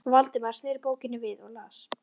Valdimar sneri bókinni við og las